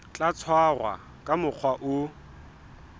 tla tshwarwa ka mokgwa o